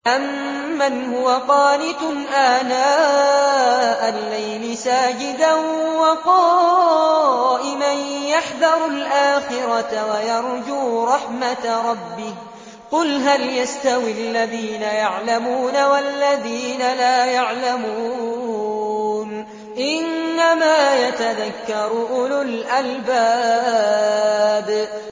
أَمَّنْ هُوَ قَانِتٌ آنَاءَ اللَّيْلِ سَاجِدًا وَقَائِمًا يَحْذَرُ الْآخِرَةَ وَيَرْجُو رَحْمَةَ رَبِّهِ ۗ قُلْ هَلْ يَسْتَوِي الَّذِينَ يَعْلَمُونَ وَالَّذِينَ لَا يَعْلَمُونَ ۗ إِنَّمَا يَتَذَكَّرُ أُولُو الْأَلْبَابِ